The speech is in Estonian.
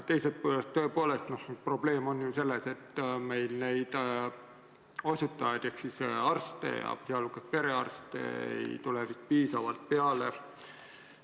Teisest küljest on probleem selles, et meil neid osutajaid ehk arste, sh perearste, ei tule vist piisavalt peale.